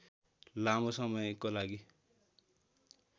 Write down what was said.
लामो समयको लागि